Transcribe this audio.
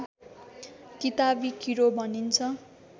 किताबी किरो भनिन्छ